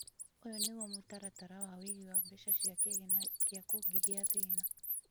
ũyũ niguo mũtaratara wa ũigi wa mbeca cĩa kigĩna gĩa kũngîgĩa thĩna.